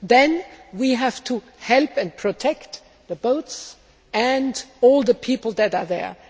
Then we have to help and protect the boats and all the people there.